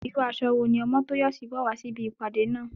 Irú aṣọ wo ní Omotoyosi wọ̀ wá sí ibi ìpàdé náà?